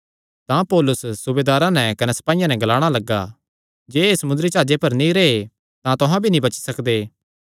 तां पौलुस सूबेदारे नैं कने सपाईयां नैं ग्लाणा लग्गा जे एह़ समुंदरी जाह्जे पर नीं रैह़न तां तुहां भी नीं बची सकदे